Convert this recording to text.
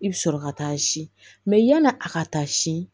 I bɛ sɔrɔ ka taa si yani a ka taa si